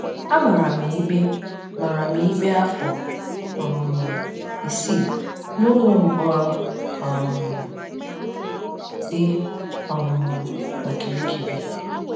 A mara m ikpe mara m ikpe afọ um isii n’ụlọ mkpọrọ um dị um na Kirikiri.